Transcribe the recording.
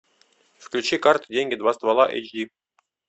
включи карты деньги два ствола эйч ди